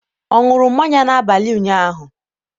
ọ ṅụrụ mmanya n'abalị ụnyaahụ?